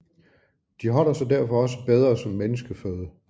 De holder sig derfor også bedre som menneskeføde